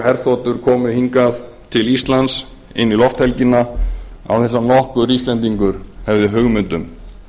herþotur komu hingað til íslands inn í lofthelgina án þess að nokkur íslendingur hefði hugmynd um